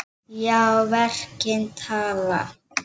Já, verkin tala.